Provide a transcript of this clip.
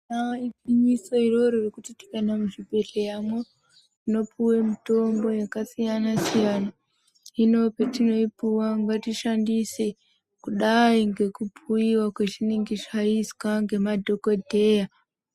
Ibari gwinyiso iroro rekuti tikaenda muzvibhedhlera tinopuwa mitombo yakasiyana-siyana hino patinoipuwa ngatiishandise kudai ngekubhuyiwa azvinenge zvaizwa nemadhokoteya.